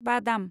बादाम